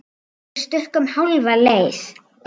Við stukkum hálfa leið.